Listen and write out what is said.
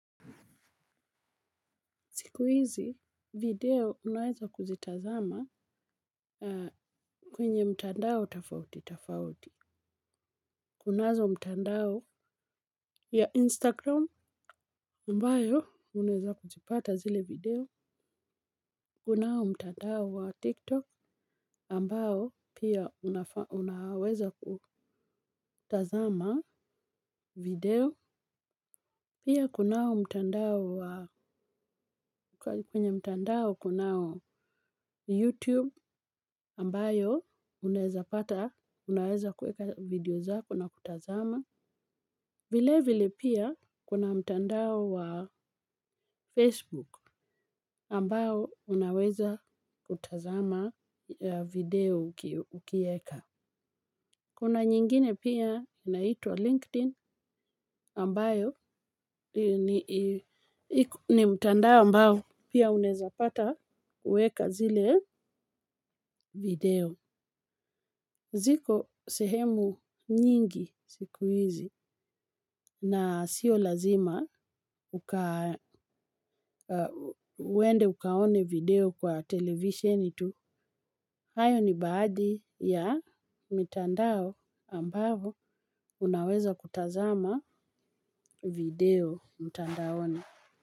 Siku hizi, video unaweza kuzitazama kwenye mtandao tafauti, tafauti. Kunazo mtandao ya Instagram ambayo unaeza kuzipata zile video. Kunao mtandao wa TikTok ambao pia unaweza kutazama video. Pia kunao mtandao kunao YouTube ambayo unaeza pata, unaweza kueka video zako na kutazama. Vile vile pia kuna mtandao wa Facebook ambayo unaweza kutazama video ukieka. Kuna nyingine pia naitua LinkedIn ambayo ni mtandao ambayo pia unaeza pata uweka zile video. Ziko sehemu nyingi sikuizi na sio lazima uende ukaone video kwa televisheni tu. Hayo ni baadhi ya mitandao ambavo unaweza kutazama video mitandaoni.